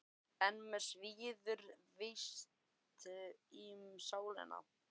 En mig svíður víst í sálina.